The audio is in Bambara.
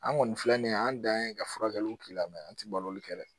An kɔni filɛ nin ye an dan ye ka furakɛli k'i la mɛ an tɛ balo kɛ dɛ